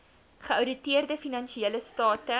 geouditeerde finansiële state